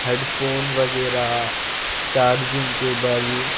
Headphone वगैरा charging cable.